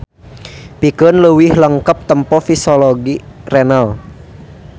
Pikeun leuwih lengkep tempo fisiologi renal.